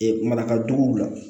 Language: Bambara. Ee marakaduguw la